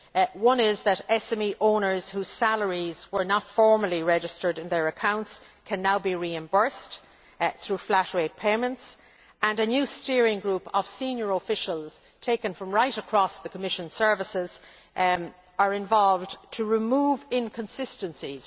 Another is that SME owners whose salaries were not formally registered in their accounts can now be reimbursed through flat rate payments. And a new steering group of senior officials, taken from right across the Commission services, is involved in removing inconsistencies.